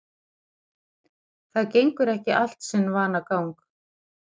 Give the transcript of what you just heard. Það gengur ekki allt sinn vanagang